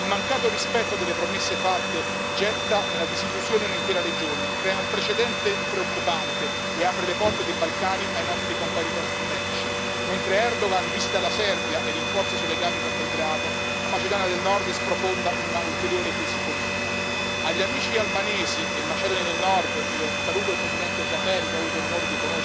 Il mancato rispetto delle promesse fatte getta nella disillusione un'intera regione, crea un precedente preoccupante e apre le porte dei Balcani ai nostri competitor strategici, mentre Erdogan visita la Serbia e rinforza i suoi legami con Belgrado, la Macedonia del Nord sprofonda in un'ulteriore crisi politica. Agli amici albanesi e macedoni del nord saluto il presidente Xhaferi, che ho avuto l'onore di conoscere dico coraggio, siete e sarete parte di questa famiglia europea.